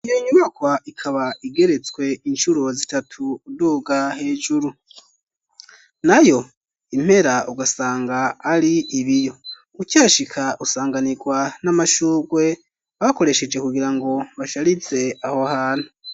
Iyo nyubakwa ikaba igeretswe incuro zitatu doga hejuru nayo impera ugasanga ari ibiyo ucashika usanganirwa n'amashurgwe bakoresheje kugira ngo basharize aho hantu.